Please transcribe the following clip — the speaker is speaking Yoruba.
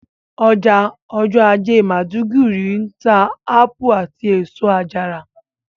Ọjà ọjọ́ ajé maiduguri ń ta ápù àti èso àjàrà